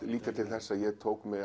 líka til þess að ég tók mig